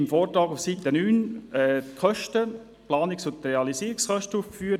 Im Vortrag sind auf Seite 9 die Planungs- und Realisierungskosten aufgeführt.